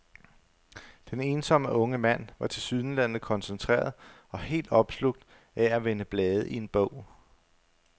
Den ensomme unge mand var tilsyneladende koncentreret og helt opslugt af at vende blade i en bog.